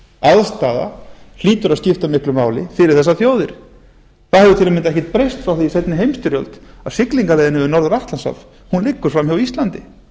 aðstaða hlýtur að skipta miklu máli fyrir þessar þjóðir það hefur tam ekkert breyst frá því í seinni heimsstyrjöld að siglingaleiðin yfir norður atlantshaf liggur framhjá íslandi